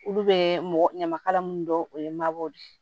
Olu bɛ ɲamakala minnu dɔn o ye mabɔ de